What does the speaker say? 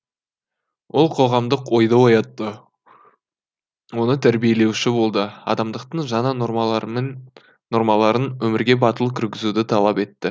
ол қоғамдық ойды оятты оны тәрбиелеуші болды адамдықтың жаңа нормаларын өмірге батыл кіргізуді талап етті